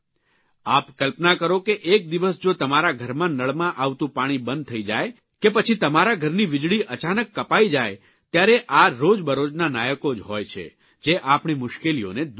આપ કલ્પના કરો કે એક દિવસ જો તમારા ઘરમાં નળમાં આવતું પાણી બંધ થઇ જાય કે પછી તમારા ઘરની વીજળી અચાનક કપાઇ જાય ત્યારે આ રોજબરોજના નાયકો જ હોય છે જે આપણી મુશ્કેલીઓને દૂર કરે છે